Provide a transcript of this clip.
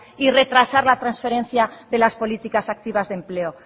y retrasar la transferencia de las políticas activas de empleo